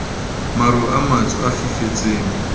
maru a matsho a fifetseng